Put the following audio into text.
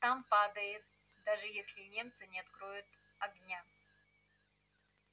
там падаем даже если немцы не откроют огня